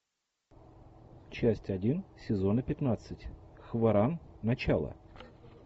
часть один сезона пятнадцать хваран начало